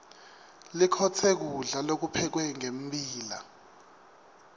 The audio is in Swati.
likhotse kulda lokuphekwe ngembila